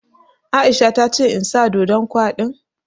Aisha ta ce in sa ɗoɗon kwaɗin